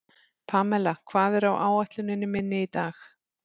Pamela, hvað er á áætluninni minni í dag?